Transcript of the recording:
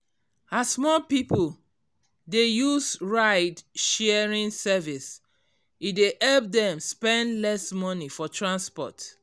as more people dey use ride-sharing service e dey help them spend less money for transport.